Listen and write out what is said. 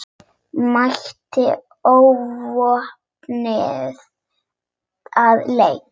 Mætti óvopnuð til leiks.